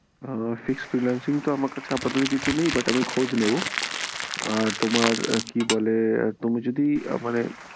আহ fixed freelancing তো আমার কাছে আপাততো কিছু নেই but আমি খোঁজ নেবো আর তোমার কি বলে, তুমি যদি মানে